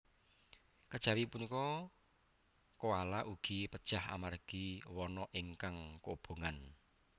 Kejawi punika koala ugi pejah amargi wana ingkang kobongan